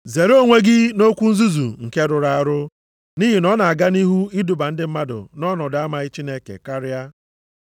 Zere onwe gị nʼokwu nzuzu nke rụrụ arụ, nʼihi na ọ na-aga nʼihu iduba ndị mmadụ nʼọnọdụ amaghị Chineke karịa.